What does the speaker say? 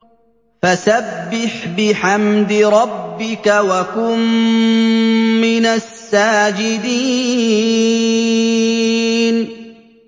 فَسَبِّحْ بِحَمْدِ رَبِّكَ وَكُن مِّنَ السَّاجِدِينَ